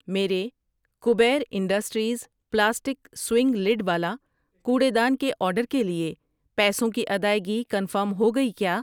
میرے Kabir industries plastic swing lid والا کوڑے دان کے آرڈر کے لیے پیسوں کی ادائگی کنفرم ہو گئی کیا؟